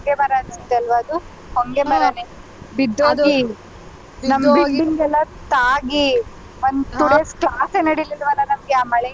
ಹೊಂಗೆ ಮರ ಅನ್ಸುತ್ತೆ ಅಲ್ವಾ ಅದು ಹೊಂಗೆ ಮರನೆ ಬಿದ್ದೋಗಿ ನಮ್ building ಗೆಲ್ಲ ತಾಗಿ ಒಂದ್ two days class ಏ ನಡೀಲಿಲ್ಲವಾ ನಮ್ಗೆ ಆ ಮಳೆಯಿಂದ ಆಲ್ವಾ.